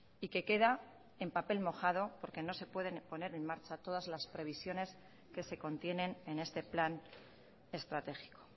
y que queda en papel mojado porque no se pueden poner en marcha todas las previsiones que se contienen en este plan estratégico